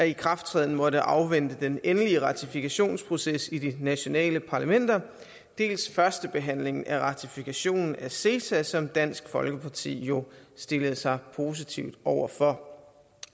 ikrafttræden måtte afvente den endelige ratifikationsproces i de nationale parlamenter dels førstebehandlingen af ratifikationen af ceta som dansk folkeparti jo stillede sig positivt over for